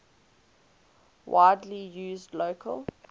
widely used local